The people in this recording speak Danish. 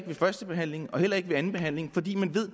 ved første behandlingen eller andenbehandlingen fordi man